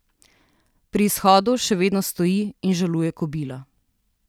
Pri izhodu še vedno stoji in žaluje kobila.